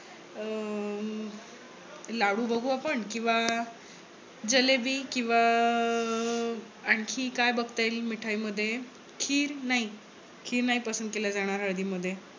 अं लाडू बघू आपण. किंवा जलेबी किंवा अह अं आणखी काय बघता येईल मिठाईमध्ये खीर नाही. खीर नाही पसंद केल जाणार हळदीमध्ये